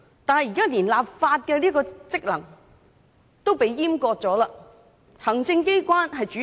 但現在連立法職能也遭閹割，由行政機關主導。